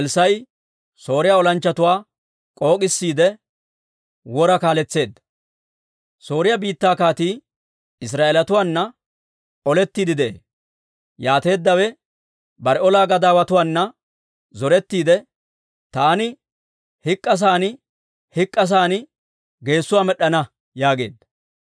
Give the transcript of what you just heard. Sooriyaa biittaa kaatii Israa'eelatuwaana olettiide de'ee. Yaateeddawe bare olaa gadaawatuwaana zorettiidde, «Taani hik'k'asan, hik'k'asan geessuwaa med'd'ana» yaageedda.